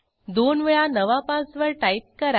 दोन वेळा नवा पासवर्ड टाईप करा